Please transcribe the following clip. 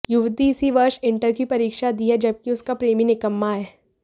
युवती इसी वर्ष इंटर की परीक्षा दी है जबकी उसका प्रेमी निकम्मा है